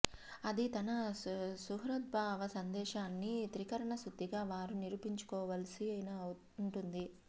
అది తన సుహృద్భావ సందేశాన్ని త్రికరణశుద్ధిగా వారు నిరూపించుకోవలసి వు ంటుంది